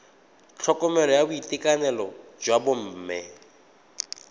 tlhokomelo ya boitekanelo jwa bomme